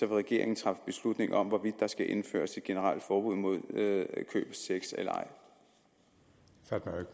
regeringen træffe beslutning om hvorvidt der skal indføres et generelt forbud mod køb af sex eller